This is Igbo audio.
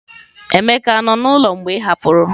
Emeka nọ n'ụlọ mgbe ị hapụrụ?